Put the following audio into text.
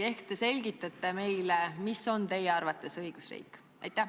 Ehk te selgitate meile, mis on teie arvates õigusriik?